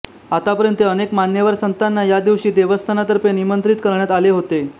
आतापर्यंत अनेक मान्यवर संतांना या दिवशी देवस्थानतर्फे निमंत्रित करण्यात आले होते